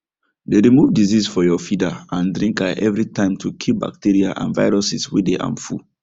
dey remove disease for your feeder and drinka every time to kill bacteria and viruses way dey harmful